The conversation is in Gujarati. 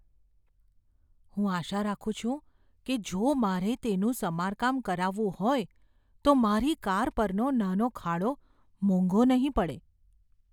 હું આશા રાખું છું કે જો મારે તેનું સમારકામ કરાવવું હોય તો મારી કાર પરનો નાનો ખાડો મોંઘો નહીં પડે.